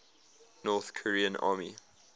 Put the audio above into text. north korean army